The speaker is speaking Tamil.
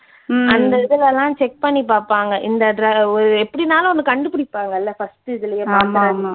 அந்த இதுல எல்லாம் check பண்ணி பார்ப்பாங்க இந்த எப்படினாலும் ஒன்னு கண்டுபிடிப்பாங்கல்ல first இதுலயே